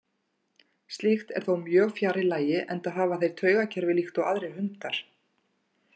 Slíkt er þó mjög fjarri lagi enda hafa þeir taugakerfi líkt og aðrir hundar.